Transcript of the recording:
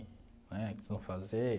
Né o que vocês vão fazer?